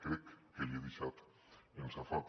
crec que l’hi he deixat en safata